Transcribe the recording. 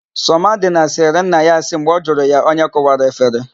Sọmadịna sịrị nna ya asị mgbe ọ jụrụ ya onye kụwara efere.